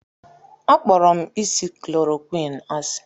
Akpọrọ m isi chloroquine asị.